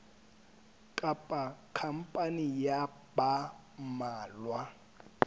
kapa khampani ya ba mmalwa